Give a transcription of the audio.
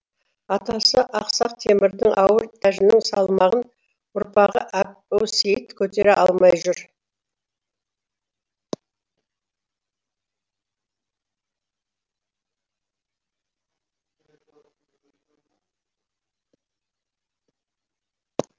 атасы ақсақ темірдің ауыр тәжінің салмағын ұрпағы әбусейіт көтере алмай жүр